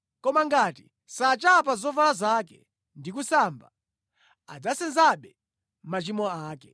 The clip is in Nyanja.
Koma ngati sachapa zovala zake ndi kusamba, adzasenzabe machimo ake.’ ”